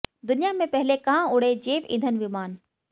दुनिया में पहले कहां उड़े जैव ईधन विमान